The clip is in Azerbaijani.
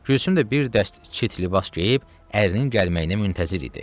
Gülsüm də bir dəst çit libas geyib ərinin gəlməyinə müntəzir idi.